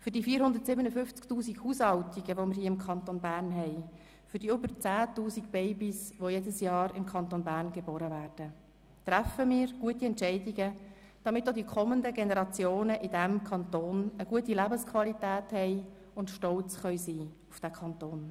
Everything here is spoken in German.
Für die 457 600 Haushalte, die wir im Kanton Bern haben, und die über 10 000 Babies, die jedes Jahr im Kanton Bern geboren werden, treffen wir gute Entscheidungen, damit auch die kommenden Generationen eine gute Lebensqualität haben und auf diesen Kanton stolz sein können.